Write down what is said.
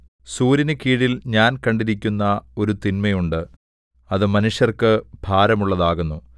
സൂര്യനുകീഴിൽ ഞാൻ കണ്ടിരിക്കുന്ന ഒരു തിന്മ ഉണ്ട് അത് മനുഷ്യർക്ക് ഭാരമുള്ളതാകുന്നു